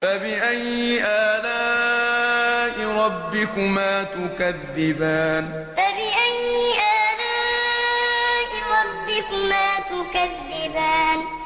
فَبِأَيِّ آلَاءِ رَبِّكُمَا تُكَذِّبَانِ فَبِأَيِّ آلَاءِ رَبِّكُمَا تُكَذِّبَانِ